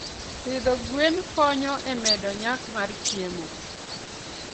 Pidho gwen konyo e medo nyak mar chiemo.